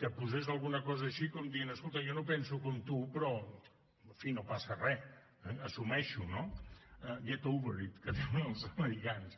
que posés alguna cosa així com dient escolta jo no penso com tu però en fi no passa re eh assumeix ho no get over it que diuen els americans